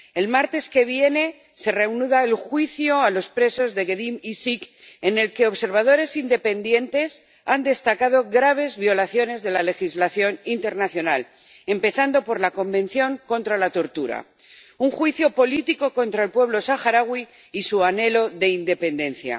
El martes que viene se reanudará el juicio a los presos de Gdeim Izik, en el que observadores independientes han destacado graves violaciones de la legislación internacional, empezando por la Convención contra la Tortura un juicio político contra el pueblo saharaui y su anhelo de independencia.